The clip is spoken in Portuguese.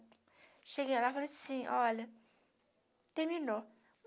Cheguei lá, falei assim, olha, terminou.